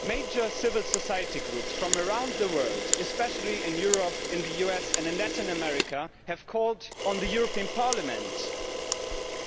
Major civil society groups from around the world, especially in Europe, in the US and in Latin America, have called on the European Parliament